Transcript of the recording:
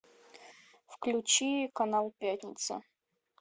включи канал пятница